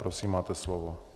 Prosím, máte slovo.